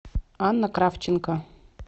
анна кравченко